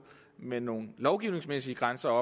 men nogle lovgivningsmæssige grænser